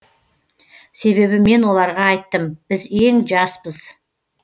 себебі мен оларға айттым біз ең жаспыз